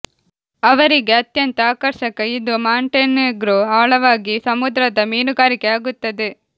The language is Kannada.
ಅವರಿಗೆ ಅತ್ಯಂತ ಆಕರ್ಷಕ ಇದು ಮಾಂಟೆನೆಗ್ರೊ ಆಳವಾಗಿ ಸಮುದ್ರದ ಮೀನುಗಾರಿಕೆ ಆಗುತ್ತದೆ